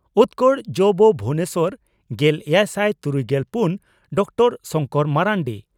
ᱩᱛᱠᱚᱲ ᱡᱹᱵᱹ ᱵᱷᱩᱵᱚᱱᱮᱥᱚᱨ᱾ᱜᱮᱞ ᱮᱭᱟᱭ ᱥᱟᱭ ᱛᱩᱨᱩᱭᱜᱮᱞ ᱯᱩᱱ ᱰᱚᱠᱴᱚᱨᱹ ᱥᱚᱝᱠᱚᱨ ᱢᱟᱨᱟᱱᱰᱤ